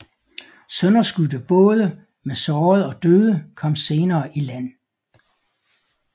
Sønderskudte både med sårede og døde kom senere i land